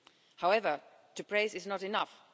However, to praise is not enough.